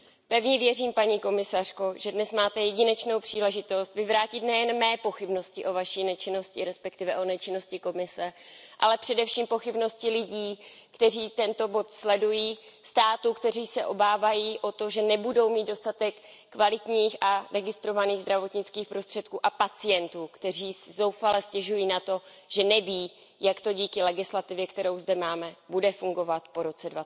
Pevně věřím, paní komisařko, že dnes máte jedinečnou příležitost vyvrátit nejen mé pochybnosti o Vaší nečinnosti, respektive o nečinnosti Komise, ale především pochybnosti lidí, kteří tento bod sledují, států, které se obávají o to, že nebudou mít dostatek kvalitních a registrovaných zdravotnických prostředků, a pacientů, kteří si zoufale stěžují na to, že neví, jak to dítě legislativy, kterou zde máme, bude fungovat po roce